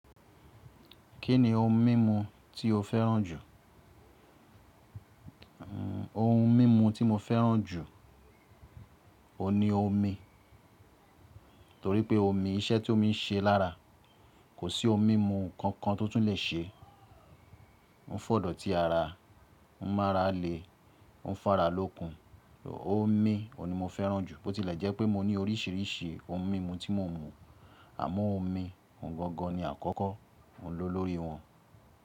Kí ni ohun mímu tí o fẹ́ràn jù? Ohun mímu tí mo fẹ́ràn jù, òun ni omi. Torí pé omi, iṣẹ́ tí ó ń ṣe lára kò sí ohun mímu kankan tó tún lè ṣe. Ó ń f'òdòtí ara, ó ń mára le, ó ń f'ara lókun. Omi, òun ni mo fẹ́ràn jù. Bó tilẹ̀ jẹ́ pé mo ní oríṣiríṣi ohun mímu tí mò ń mu, àmọ́ omi, ohun gangan ni àkọ́kọ́ oun lò lórí wọn.